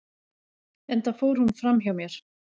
enda fór hún fram hjá mér